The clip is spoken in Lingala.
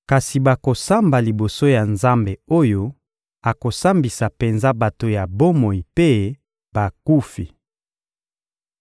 Kasi bakosamba liboso ya Nzambe oyo akosambisa penza bato ya bomoi mpe bakufi.